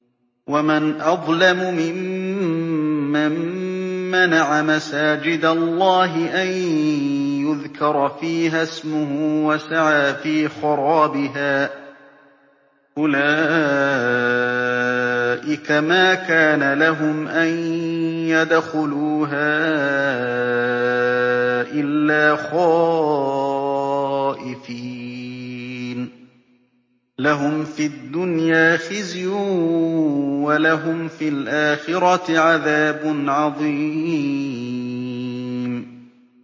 وَمَنْ أَظْلَمُ مِمَّن مَّنَعَ مَسَاجِدَ اللَّهِ أَن يُذْكَرَ فِيهَا اسْمُهُ وَسَعَىٰ فِي خَرَابِهَا ۚ أُولَٰئِكَ مَا كَانَ لَهُمْ أَن يَدْخُلُوهَا إِلَّا خَائِفِينَ ۚ لَهُمْ فِي الدُّنْيَا خِزْيٌ وَلَهُمْ فِي الْآخِرَةِ عَذَابٌ عَظِيمٌ